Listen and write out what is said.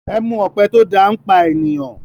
Èmi ọpẹ tó dá pà ènìyàn.